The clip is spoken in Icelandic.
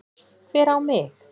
Hver á mig?